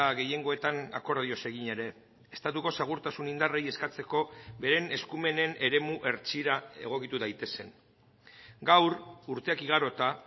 gehiengoetan akordioz egin ere estatuko segurtasun indarrei eskatzeko beren eskumenen eremu hertsira egokitu daitezen gaur urteak igarota